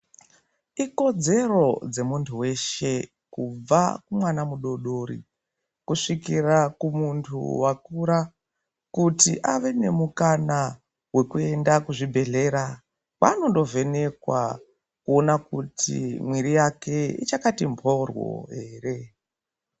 Ikodzero dzemuntu weshe kubva kumwana mudodori kusvikira kumuntu wakura kuti ave nemukana wekuenda kuzvibhehlera kwaanondovhenekwa kuona kuti mwiri yake ichakati mboryo ere.